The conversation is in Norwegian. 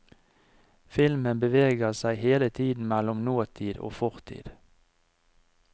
Filmen beveger seg hele tiden mellom nåtid og fortid.